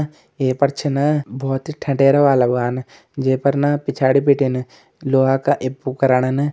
ह एपेर छीन भोत ही ठटेर वाला वान जे पर न पिछाडी बिटिन लोआ का ए पोकराणन --